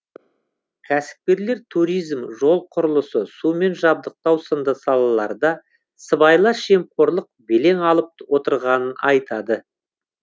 кәсіпкерлер туризм жол құрылысы сумен жабдықтау сынды салаларда сыбайлас жемқорлық белең алып отырғанын айтады